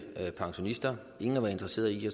pensionister ingen har været interesseret i at